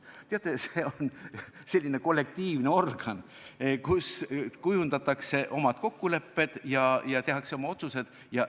Teate, see on selline kollektiivne organ, kus kujundatakse oma kokkulepped ja tehakse oma otsused.